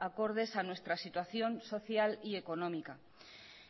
acordes a nuestra situación social y económica